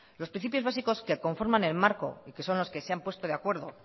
los principios básicos que conforman el marco y que son los que se han puesto de acuerdo